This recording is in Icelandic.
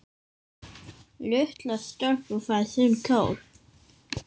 Litla stelpan fær sinn kjól.